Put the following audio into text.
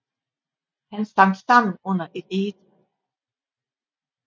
Han sank sammen under et egetræ